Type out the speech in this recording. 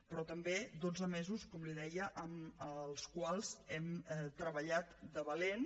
però també dotze mesos com li deia en els quals hem treballat de valent